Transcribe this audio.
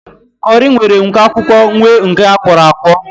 Kọri nwere nke akwụkwọ nwee nke akwọro akwọ